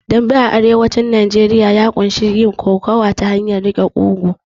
Dambe a arewacin Najeriya ya ƙunshi yin kokowa ta hanyar riƙe ƙugu